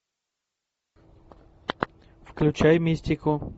включай мистику